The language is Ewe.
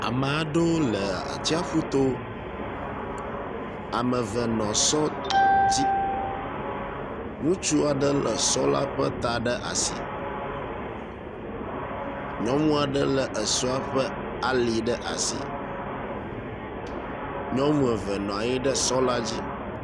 Ame aɖewo le atsƒu to. Ame eve nɔ sɔ dzi. Ŋutsu aɖe le sɔ la ƒe ta ɖe asi. Nyɔnu aɖe le esɔ ƒe ali ɖe asi. Nyɔnu eve nɔ anyi ɖe sɔ la dzi.